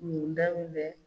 Mun da